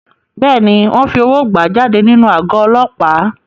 Bẹ́ẹ̀ni, wọ́n fi owó gbà á jáde nínú àgọ́ Ọlọ́pàá.